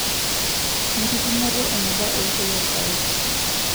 Enkipimoto eneba eishoi oolpayek .